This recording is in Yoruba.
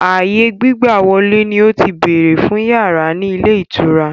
Ààyè gbígbàwọ̀lè ni ó ti béèrè fún yàrá ni ilé ìtura.